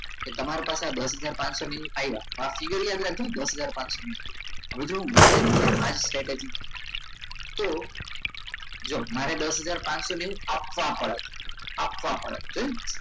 તમારા પાસે દસ હજાર પાચસો ની આ ફિગર યાદ રાખજો ફાયદા દસ હજાર પાચસો ની હવે જો માણસ strategy તો જુઓ મારે દસ હજાર પાચસો ની આપવા પડે આપવા પડે નહીં